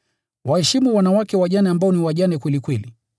Waheshimu wanawake wajane ambao ni wajane kweli kweli.